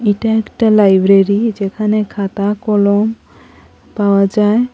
এটা একটা লাইব্রেরি যেখানে খাতা কলম পাওয়া যায়।